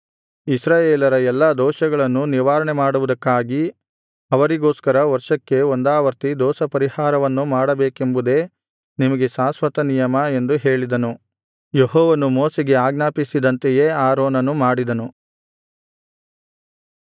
ಇಸ್ರಾಯೇಲರ ಎಲ್ಲಾ ದೋಷಗಳನ್ನು ನಿವಾರಣೆಮಾಡುವುದಕ್ಕಾಗಿ ಅವರಿಗೋಸ್ಕರ ವರ್ಷಕ್ಕೆ ಒಂದಾವರ್ತಿ ದೋಷಪರಿಹಾರವನ್ನು ಮಾಡಬೇಕೆಂಬುದೇ ನಿಮಗೆ ಶಾಶ್ವತನಿಯಮ ಎಂದು ಹೇಳಿದನು ಯೆಹೋವನು ಮೋಶೆಗೆ ಆಜ್ಞಾಪಿಸಿದಂತೆಯೇ ಆರೋನನು ಮಾಡಿದನು